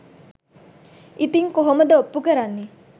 ඉතින් කොහොමද ඔප්පුකරන්නේ